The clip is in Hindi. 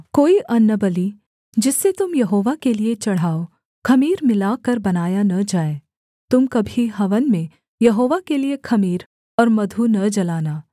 कोई अन्नबलि जिसे तुम यहोवा के लिये चढ़ाओ ख़मीर मिलाकर बनाया न जाए तुम कभी हवन में यहोवा के लिये ख़मीर और मधु न जलाना